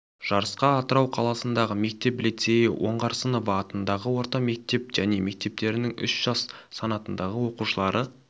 жарысқа атырау қаласындағы мектеп лицейі оңғарсынова атындағы орта мектеп және мектептерінің үш жас санатындағы оқушылары